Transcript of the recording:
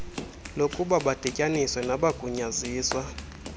lokuba badityaniswe nabagunyaziswa